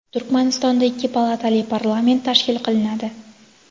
Turkmanistonda ikki palatali parlament tashkil qilinadi.